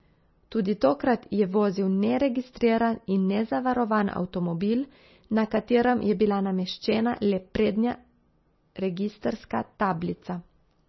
Tudi tokrat je vozil neregistriran in nezavarovan avtomobil, na katerem je bila nameščena le prednja registrska tablica.